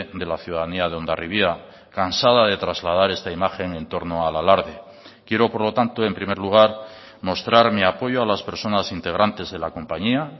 de la ciudadanía de hondarribia cansada de trasladar esta imagen en torno al alarde quiero por lo tanto en primer lugar mostrar mi apoyo a las personas integrantes de la compañía